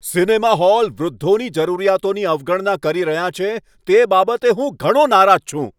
Cinema hall વૃદ્ધોની જરૂરિયાતોની અવગણના કરી રહ્યાં છે, તે બાબતે હું ઘણો નારાજ છું.